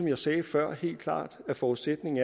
jeg sagde før helt klart at forudsætningen